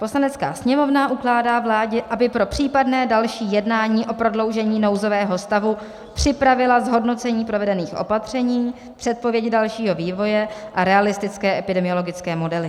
Poslanecká sněmovna ukládá vládě, aby pro případné další jednání o prodloužení nouzového stavu připravila zhodnocení provedených opatření, předpověď dalšího vývoje a realistické epidemiologické modely.